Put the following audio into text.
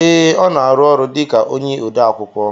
Ee, ọ na arụ ọrụ dịka ode akwụkwọ